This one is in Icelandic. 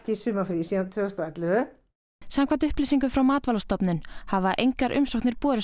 í sumarfríi síðan tvö þúsund og ellefu samkvæmt upplýsingum frá Matvælastofnun hafa engar umsóknir borist